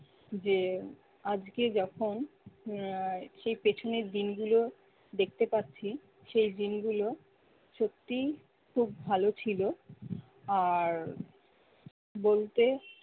যে আজকে যখন আহ সে পিছনের দিনগুলো দেখতে পাচ্ছি সেই দিনগুলো সত্যিই খুব ভালো ছিল আর বলতে